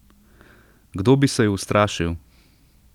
Kdo bi se ju ustrašil?